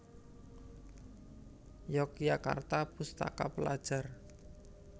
Yogyakarta Pustaka Pelajar